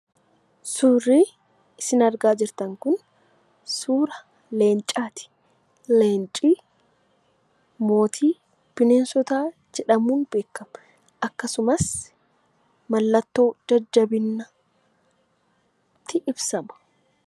Suurri isin argaa jirtan kun, suura Leencaati. Leenci mootii bineensota jedhamuun beekama. Akkasumas mallattoo jajjabinaatti Ibsama.